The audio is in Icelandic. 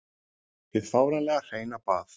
Hið fáránlega hreina bað.